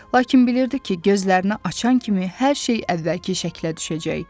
Lakin bilirdi ki, gözlərini açan kimi hər şey əvvəlki şəklə düşəcək.